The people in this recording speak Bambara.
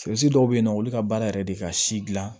dɔw bɛ yen nɔ olu ka baara yɛrɛ de ka si dilan